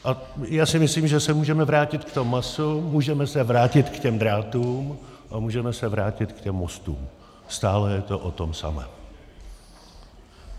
A já si myslím, že se můžeme vrátit k tomu masu, můžeme se vrátit k těm drátům a můžeme se vrátit k těm mostům - stále je to o tom samém.